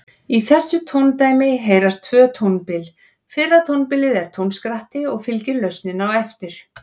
Í þessu tóndæmi heyrast tvö tónbil, fyrra tónbilið er tónskratti og fylgir lausnin á eftir.